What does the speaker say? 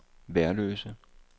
Værløse